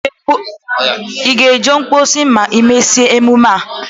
Ị ga-eje mposi ma e mesia emume a?